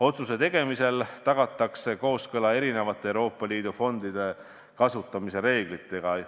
Otsuse tegemisel tagatakse kooskõla Euroopa Liidu fondide kasutamise reeglitega.